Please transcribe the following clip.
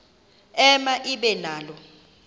ema ibe nalo